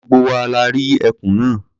Gbogbo wa la rí ẹkùn náà.